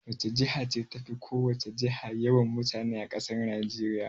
Wace jiha ce tafi ko wace jiha yawan mutane a ƙasar Najeriya?